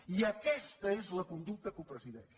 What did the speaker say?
i aquesta és la conducta que ho presideix